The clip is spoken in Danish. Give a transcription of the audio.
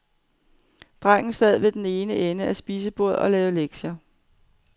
Drengen sad ved den ene ende af spisebordet og lavede lektier.